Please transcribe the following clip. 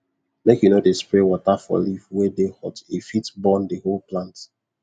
make u no dey spray water for leaf wey dey hot e fit burn the whole plant